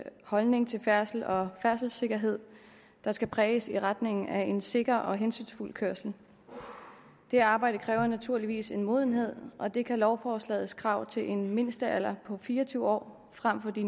holdning til færdsel og færdselssikkerhed der skal præges i retning af en sikker og hensynsfuld kørsel det arbejde kræver naturligvis en modenhed og det kan lovforslagets krav til en mindstealder på fire og tyve år frem for de